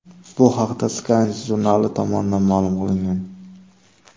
Bu haqda Science jurnali tomonidan ma’lum qilingan .